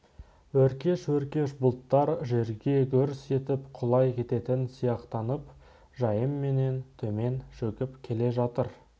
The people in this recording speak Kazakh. өркеш-өркеш бұлттар жерге гүрс етіп құлай кететін сияқтанып жайыменен төмен шөгіп келе жатыр